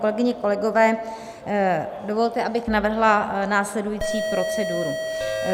Kolegyně, kolegové, dovolte, abych navrhla následující proceduru.